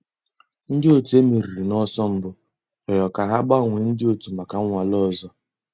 Ǹdí ọ̀tù e mèrìrì n'ọ̀sọ̀ mbù rị̀ọrọ̀ kà hà gbànwèè ńdí ọ̀tù mǎká nnwàlè òzò.